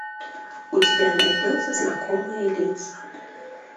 у тебя найдется знакомые лица